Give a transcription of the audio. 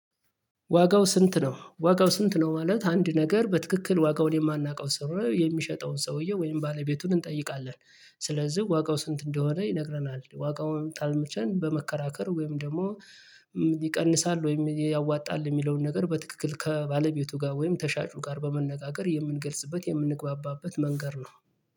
ዋጋው ስንት? ነው ዋጋው ስንት ነው? ማለት አንድ ነገር በትክክል ዋጋውን የማናውቀው ስር የሚሸጠውን ሰውየው ወይም ባለቤቱን እንጠይቃለን። ስለዚህ ዋጋው ስንት እንደሆነ ይነግረናል ዋጋውን ጣልመቸን በመከራከር ወይም ደግሞ ይቀንሳል ወይም ያዋጣል የሚለውን ነገር በትክክል ከባለቤቱ ጋር ወይም ከሻጩ ጋር በመነጋገር የምንገልጽበት የምንግባባበት መንገድ ነው